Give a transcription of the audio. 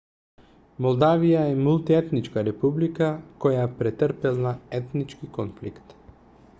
молдавија е мултиетничка република која претрпела етнички конфликт